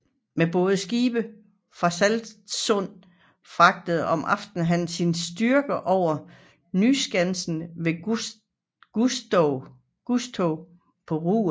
Med både og skibe fra Stralsund fragtede om aftenen han sine styrker over til Nyskansen ved Gustow på Rügen